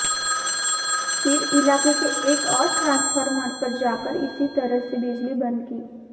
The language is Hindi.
फिर इलाके के एक और ट्रांसफॉर्मर पर जाकर इसी तरह से बिजली बंद की